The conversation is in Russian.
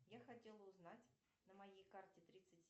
я хотела узнать на моей карте тридцать